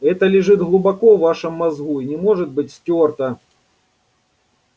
это лежит глубоко в вашем мозгу и не может быть стёрто